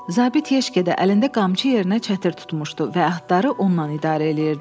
Zabit yeşkədə əlində qamçı yerinə çətir tutmuşdu və atları onunla idarə eləyirdi.